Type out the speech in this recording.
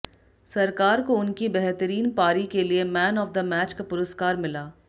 सरकार को उनकी बेहतरीन पारी के लिए मैन ऑफ द मैच का पुरस्कार मिला